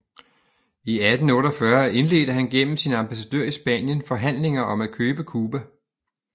I 1848 indledte han igennem sin ambassadør i Spanien forhandlinger om at købe Cuba